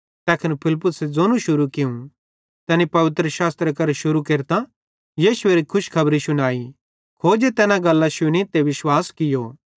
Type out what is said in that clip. तैखन फिलिप्पुसे ज़ोनू शुरू कियूं तैनी पवित्रशास्त्रे करां शुरू केरतां यीशुएरो खुशखबरी शुनाई खोजे तैना गल्लां शुनी ते विश्वास कियो